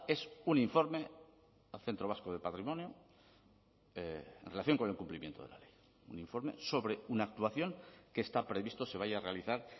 es un informe al centro vasco de patrimonio en relación con el cumplimiento de la ley un informe sobre una actuación que está previsto se vaya a realizar